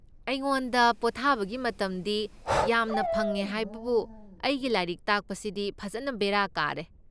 ꯑꯩꯉꯣꯟꯗ ꯄꯣꯊꯥꯕꯒꯤ ꯃꯇꯝꯗꯤ ꯌꯥꯝꯅ ꯐꯪꯉꯦ ꯍꯥꯏꯕꯕꯨ ꯑꯩꯒꯤ ꯂꯥꯏꯔꯤꯛ ꯇꯥꯛꯄꯁꯤꯗꯤ ꯐꯖꯟꯅ ꯕꯦꯔꯥ ꯀꯥꯔꯦ꯫